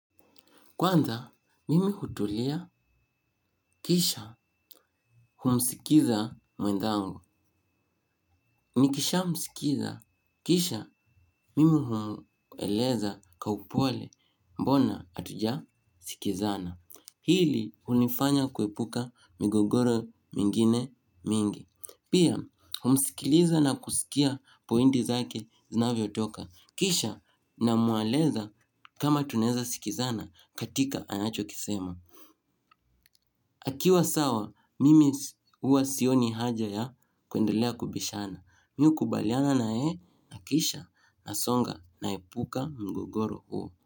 Kwanza, mimi hutulia, kisha humsikiza mwenzangu. Nikishamsikiza, kisha mimi humweleza kwa upole mbona hatujasikizana. Hili hunifanya kuepuka migogoro mingine mingi. Pia, humsikiliza na kusikia pointi zake zinavyotoka. Kisha namweleza kama tunaweza sikizana katika anachokisema. Akiwa sawa, mimi huwa sioni haja ya kuendelea kubishana. Mimi hukubaliana na yeye, na kisha nasonga, naepuka mgogoro huo.